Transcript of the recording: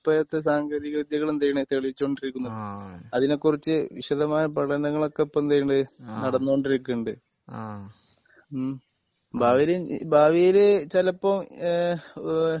ഇത്രെയൊക്കെ സാങ്കേന്തിക വിദ്യകൾ എന്ത് ചെയ്യ്ണെയ് തെളിയിച്ചു കൊണ്ടിരിക്കുന്നത്. അതിനെ കുറിച്ച് വിശദമായ പഠനങ്ങൾ ഒക്കെ ഇപ്പൊ എന്ത് ചെയ്യ്ണ് ഇണ്ട്? നടന്നു കൊണ്ടിരിക്കുന്നുണ്ട്. ആഹ് ഹ്മ് ഭാവിയിൽ ഭാവിയിൽ ചിലപ്പോ ഏഹ് ഓഹ്